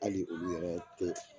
Hali olu yɛrɛ tɛ